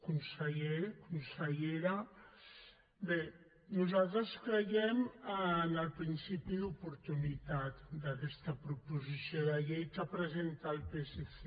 conseller consellera bé nosaltres creiem en el principi d’oportunitat d’aquesta proposició de llei que presenta el psc